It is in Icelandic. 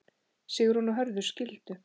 Sigrún og Hörður skildu.